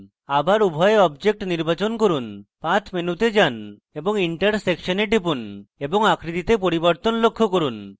আবার উভয় objects নির্বাচন করুন path মেনুতে যান এবং intersection এ টিপুন এবং আকৃতিতে পরিবর্তন লক্ষ্য করুন